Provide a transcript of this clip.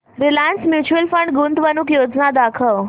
Reliance mutual fund गुंतवणूक योजना दाखव